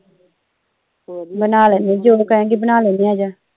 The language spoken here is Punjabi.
ਬਣਾ ਲੈਣੇ ਜੋ ਕਹੇਗੀ ਬਣਾ ਲੈਣੇ ਆਜਾ